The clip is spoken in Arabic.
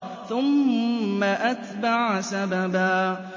ثُمَّ أَتْبَعَ سَبَبًا